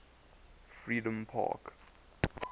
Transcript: freedompark